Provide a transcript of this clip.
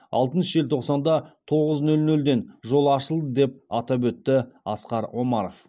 алтыншы желтоқсанда тоғыз нөл нөлден жол ашылды деп атап өтті асқар омаров